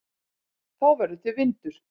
Þá verður til vindur.